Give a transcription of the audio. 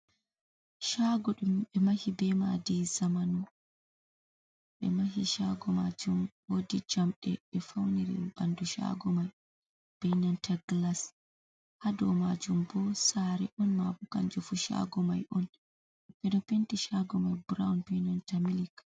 Shaago ɗum ɓe mahi je madi zamanu. Ɓe mahi shaago majum wodi jamdi be fauniri ɓandu shaago mai be nanta glas ha dow majum bo sare on mabu kanje fu shago mai on bedo penti shaago mai brawn be nanta milk.